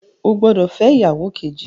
O gbódò fẹ ìyàwó Kejì!